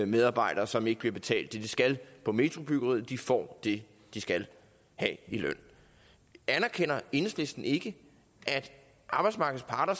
medarbejdere som ikke bliver betalt det de skal på metrobyggeriet får det de skal have i løn anerkender enhedslisten ikke at arbejdsmarkedets parter